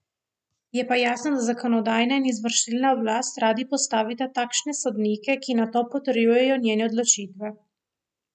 Je pa jasno, da zakonodajna in izvršilna oblast radi postavita takšne sodnike, ki nato potrjujejo njene odločitve.